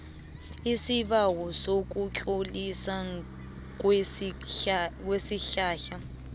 isibawo sokutloliswa kwesihlahla